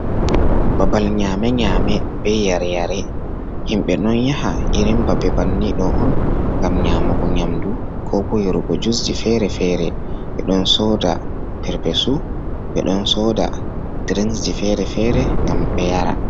Babal nyame nyame be yare-yare, himɓe ɗon yaha irin babbe banni ɗo on ngam nyamugo nyamdu, ko bo yarugo jusji fere-fere, ɓe ɗon soda perpesu ɓe ɗon soda drinksji fere-fere ngam ɓe yara.